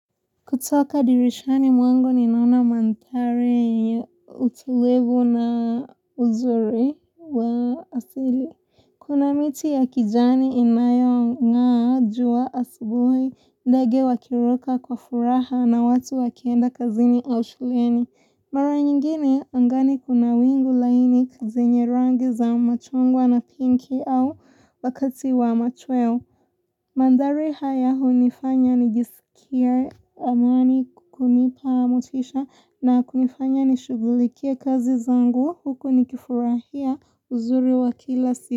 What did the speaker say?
Kutoka dirishani mwangu ninaona manthari utulivu na uzuri wa asili. Kuna miti ya kijani inayo ng'a juwa asubuhi ndege wakiruka kwa furaha na watu wakienda kazini au shuleni. Mara nyingine angani kuna wingu laini zenye rangi za machungwa na pinki au wakati wa machweo. Manthari haya hunifanya nijisikia amani na kunipa motisha na kunifanya nishughulikia kazi zangu huku nikifurahia uzuri wakila siku.